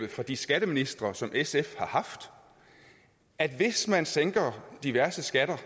fra de skatteministre som sf har haft at hvis man sænker diverse skatter